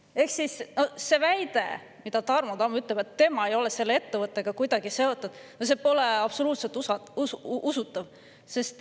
Ehk siis see Tarmo Tamme väide, et tema ei ole selle ettevõttega kuidagi seotud, pole absoluutselt usutav.